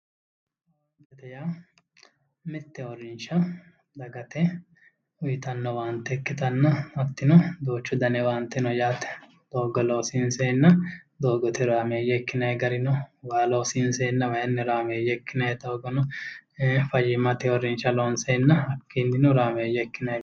Owaantete yaa mitte uurrinsha dagate uyitanno owaante ikkitanna hattino duuchu dani owaante no yaate doogga loosiinseenna doogote horaameeyye ikkinayi gari no waa loosiinseenna wayinni horaameeyye ikkinayi doogo no fayyimmate uurrinsha loonseenna hakkiinnino horaameeyye ikkinayi